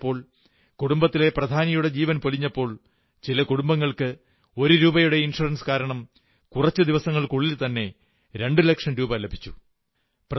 ആപത്തുണ്ടായപ്പോൾ കുടുംബത്തിലെ പ്രധാനിയുടെ ജീവൻ പൊലിഞ്ഞപ്പോൾ ചില കുടുംബങ്ങൾക്ക് ഒരു രൂപയുടെ ഇൻഷ്വറൻസ് കാരണം കുറച്ചു ദിവസങ്ങൾക്കുള്ളിൽ തന്നെ രണ്ടുലക്ഷം രൂപ ലഭിച്ചു